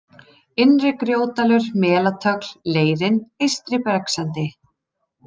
Innri-Grjótdalur, Melatögl, Leirinn, Eystri-Bergsendi